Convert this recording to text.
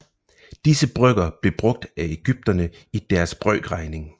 Disse brøker blev brugt af egypterne i deres brøkregning